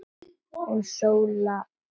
Hún Sóla litla?